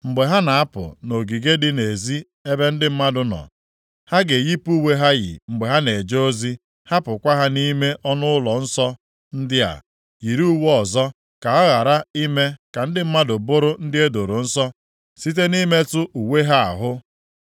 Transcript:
Mgbe ha na-apụ nʼogige dị nʼezi ebe ndị mmadụ nọ, ha ga-eyipụ uwe ha yi mgbe ha na-eje ozi, hapụkwa ha nʼime ọnụụlọ nsọ ndị a, yiri uwe ọzọ, ka ha ghara ime ka ndị mmadụ bụrụ ndị e doro nsọ site nʼimetụ uwe ha ahụ.